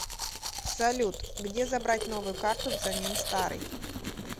салют где забрать новую карту взамен старой